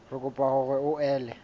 re kopa hore o ele